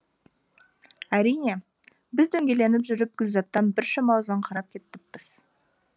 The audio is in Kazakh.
әрине біз дөңгеленіп жүріп гүлзаттан біршама ұзаңқырап кетіппіз